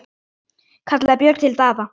kallaði Björn til Daða.